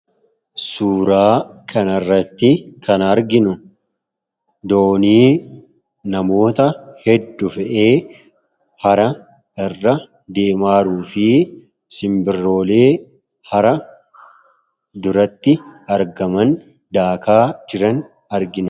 Suuraa kan irratti kan arginu doonii namoota hedduu fe'ee hara irra deemaaruu fi simbirroolee hara duratti argaman daakaa jiran argina.